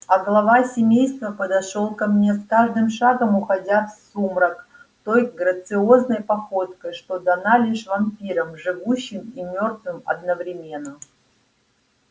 а глава семейства подошёл ко мне с каждым шагом уходя в сумрак той грациозной походкой что дана лишь вампирам живущим и мёртвым одновременно